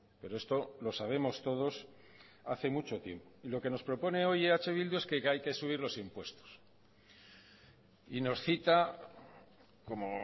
pero esto lo sabemos todos hace mucho tiempo y lo que nos propone hoy eh bildu es que hay que subir los impuestos y nos cita como